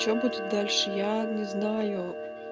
что будет дальше я не знаю